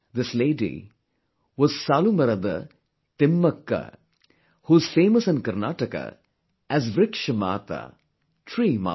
This lady was Saalumarada Timmakka Saalumarada Timmakka, who is famous in Karnataka as 'Vriksha Maataa' Tree Mother